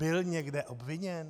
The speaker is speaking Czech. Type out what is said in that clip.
Byl někde obviněn?!